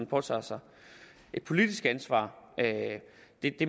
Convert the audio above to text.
påtage sig et politisk ansvar